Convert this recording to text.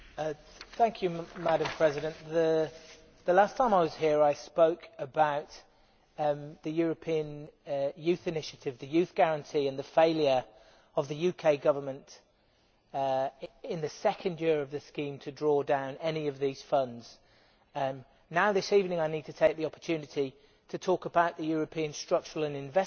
Madam President, the last time I was here I spoke about the European Youth Initiative, the Youth Guarantee and the failure of the UK Government in the second year of the scheme to draw down any of these funds. This evening I need to take the opportunity to talk about the European Structural and Investment Fund money,